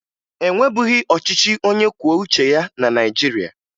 E nwebughi ọchịchị onyekwuoucheya na Naịjirịa